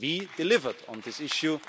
We delivered on this issue.